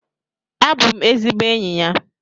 Abụ m ezigbo enyi ya.